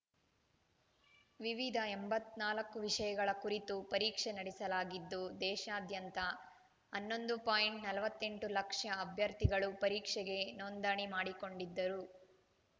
ವಿವಿಧ ಎಂಬತ್ತ್ ನಾಲ್ಕು ವಿಷಯಗಳ ಕುರಿತು ಪರೀಕ್ಷೆ ನಡೆಸಲಾಗಿದ್ದು ದೇಶಾದ್ಯಂತ ಹನ್ನೊಂದು ಪಾಯಿಂಟ್ ನಲವತ್ತೆಂಟು ಲಕ್ಷ ಅಭ್ಯರ್ಥಿಗಳು ಪರೀಕ್ಷೆಗೆ ನೋಂದಣಿ ಮಾಡಿಕೊಂಡಿದ್ದರು